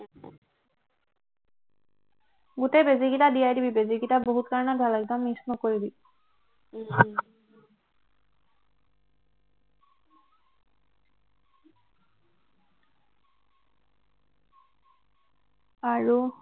গোটেই বেজী কেইটা দিয়াই দিবি বেজীকেইটা বহুত কাৰণত ভাল একদম miss নকৰিবি আৰু